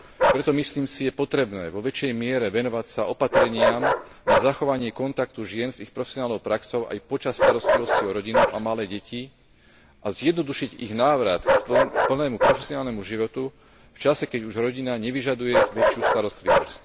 Preto, myslím si, je potrebné vo väčšej miere venovať sa opatreniam na zachovanie kontaktu žien s ich profesionálnou praxou aj počas starostlivosti o rodinu a malé deti a zjednodušiť ich návrat k plnému profesionálnemu životu v čase, keď už rodina nevyžaduje väčšiu starostlivosť.